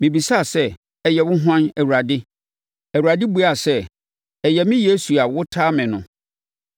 “Mebisaa sɛ, ‘Ɛyɛ wo hwan, Awurade?’ “Awurade buaa sɛ, ‘Ɛyɛ me Yesu a wotaa me no.